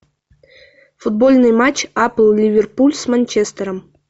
футбольный матч апл ливерпуль с манчестером